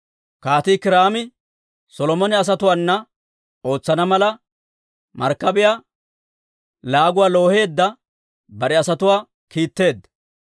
Kaatii Kiiraami Solomone asatuwaana ootsana mala markkabiyaa laaguwaa looheedda bare asatuwaa kiitteedda.